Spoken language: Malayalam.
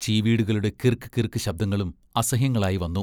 ചീവീടുകളുടെ കിർക്ക്, കിർക്ക് ശബ്ദങ്ങളും അസഹ്യങ്ങളായിവന്നു.